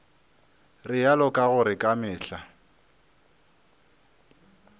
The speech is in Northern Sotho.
realo ka gore ka mehla